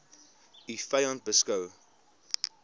u vyand beskou